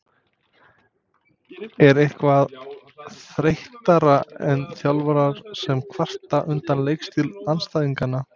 Er eitthvað þreyttara en þjálfarar sem kvarta undan leikstíl andstæðinganna?